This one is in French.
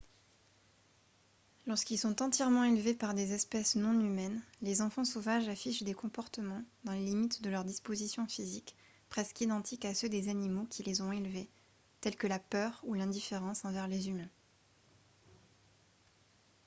lorsqu'ils sont entièrement élevés par des espèces non humaines les enfants sauvages affichent des comportements dans les limites de leurs dispositions physiques presque identiques à ceux des animaux qui les ont élevés tels que la peur ou l'indifférence envers les humains